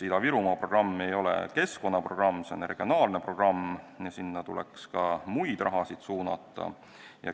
Ida-Virumaa programm ei ole keskkonnaprogramm, see on regionaalne programm ja sinna tuleks ka muud raha suunata.